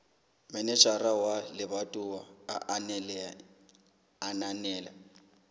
manejara wa lebatowa a ananela